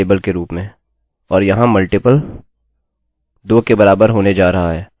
2 के बराबर होने जा रहा है अतः अब आप अंदाज़ा लगा सकते हैं कि मैंने मूलतः इसे बदल दिया है